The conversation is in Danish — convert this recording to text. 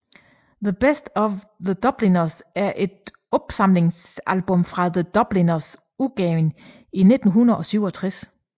The Best of The Dubliners er et opsamlingsalbum fra The Dubliners udgivet i 1967